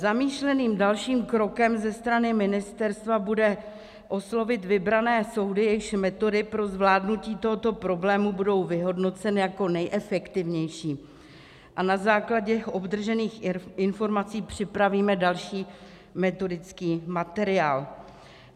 Zamýšleným dalším krokem ze strany ministerstva bude oslovit vybrané soudy, jejichž metody pro zvládnutí tohoto problému budou vyhodnoceny jako nejefektivnější, a na základě obdržených informací připravíme další metodický materiál.